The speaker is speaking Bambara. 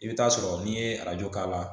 I bɛ taa sɔrɔ n'i ye arajo k'a la